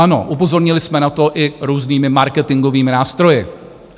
Ano, upozornili jsme na to i různými marketingovými nástroji.